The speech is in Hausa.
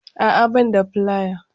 A'a ban da filaya